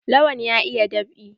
Lawan ya iya dab'i.